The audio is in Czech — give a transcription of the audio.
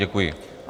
Děkuji.